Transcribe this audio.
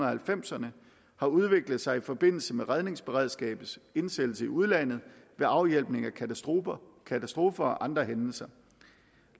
halvfemserne har udviklet sig i forbindelse med redningsberedskabets indsættelse i udlandet ved afhjælpning af katastrofer katastrofer og andre hændelser